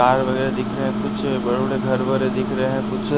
car वगैरह दिख रहे हैं कुछ बड़े-बड़े घर वगैरह दिख रहे हैं कुछ--